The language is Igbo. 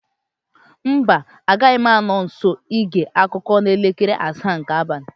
Mba, agaghị m anọ nso ige akụkọ n'elekere asaa nke abalị